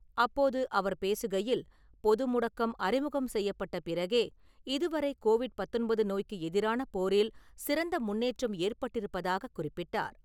அப்போது அவர் பேசுகையில் பொது முடக்கம் அறிமுகம் செய்யப்பட்ட பிறகே, இதுவரை கோவிட் பத்தொன்பது நோய்க்கு எதிரான போரில் சிறந்த முன்னேற்றம் ஏற்பட்டிருப்பதாக குறிப்பிட்டார்.